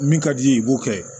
Min ka d'i ye i b'o kɛ